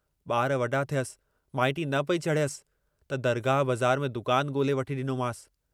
वक्त मूजिबि ई त हली रहियो आहियां।